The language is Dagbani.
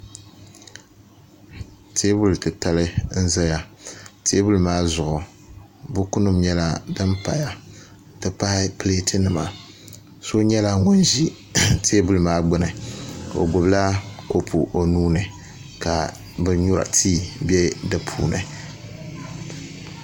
Teebuli titali n ʒɛya tee buli maa zuɣu buku nim nyɛla din paya n ti pahi pileet nima so nyɛla ŋun ʒi teebuli maa gbuni o gbubila kopu o nuuni ka bin nyura tii bɛ di puuni